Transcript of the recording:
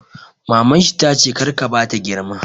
Maman shi tace 'kar ka bata girma'!